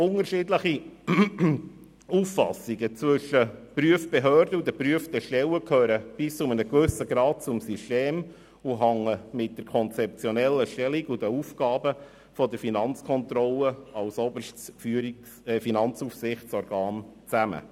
Unterschiedliche Auffassungen zwischen der Prüfbehörde und den geprüften Stellen gehören bis zu einem gewissen Grad zum System und hängen mit der konzeptionellen Stellung sowie den Aufgaben der Finanzkontrolle als oberstes Finanzaufsichtsorgan zusammen.